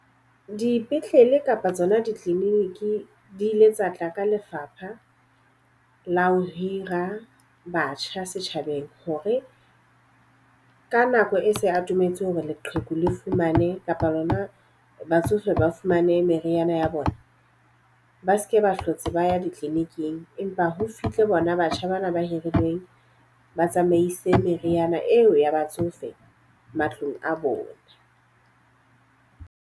Dipetlele kapa tsona di-clinic di ile tsa tla ka lefapha la ho hira batjha setjhabeng. Hore ka nako e se e atometse hore leqheku le fumane kapa lona batsofe ba fumane meriana ya bona, ba seke ba hlotse ba ya di-clinic-ing empa ho fitlhe bona batjha bana ba hirilweng ba tsamaise meriana eo ya batsofe matlong a bona.